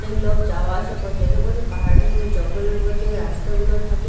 অনেক লোক যাওয়া আসা করছে এরকম এর পাহাড়ের উপরে জঙ্গলের মধ্যে রাস্তাগুলো থাকে।